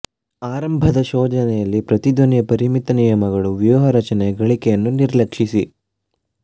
ಆರಂಭದ ಶೋಧನೆಯಲ್ಲಿ ಪ್ರತಿಧ್ವನಿಯ ಪರಿಮಿತ ನಿಯಮಗಳು ವ್ಯೂಹ ರಚನೆಯ ಗಳಿಕೆಯನ್ನು ನಿರ್ಲಕ್ಷಿಸಿ